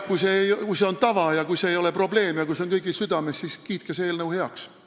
Kui see on tava, kui see ei ole probleem ja kui see on kõigil südames, siis kiitke see eelnõu heaks.